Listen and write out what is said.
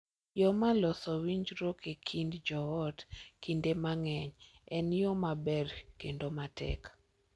Yo mar loso winjruok e kind joot kinde mang’eny en yo mabor kendo matek.